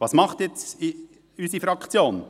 Was macht jetzt unsere Fraktion?